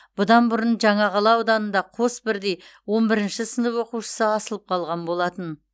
бұдан бұрын жаңақала ауданында қос бірдей он бірінші сынып оқушысы асылып қалған болатын